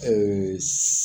Ɛɛ